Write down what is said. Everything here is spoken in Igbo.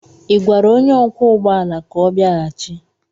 Ị gwara onye ọkwọ ụgbọ ala ka ọ bịaghachi?